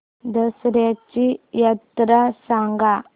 दसर्याची यात्रा सांगा